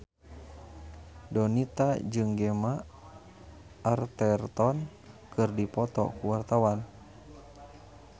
Donita jeung Gemma Arterton keur dipoto ku wartawan